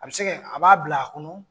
A bɛ se ka a b'a bila a kɔnɔ.